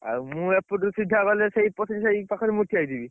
ଆଉ ମୁଁ ଏପୁଟୁ ସିଧା ଗଲେ ସେଇ ପତ୍ରୀସାହି ପାଖରେ ମୁଁ ଠିଆ ହେଇଥିବି।